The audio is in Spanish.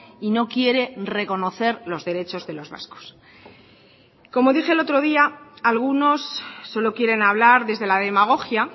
y no quiere reconocer los derechos de los vascos como dije el otro día algunos solo quieren hablar desde la demagogia